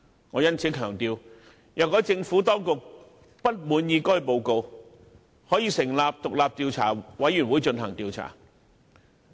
我因此強調，"若政府當局不滿意該報告，可成立獨立調查委員會對該事件進行調查。